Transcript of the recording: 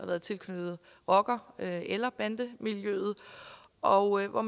været tilknyttet rocker eller eller bandemiljøet og hvor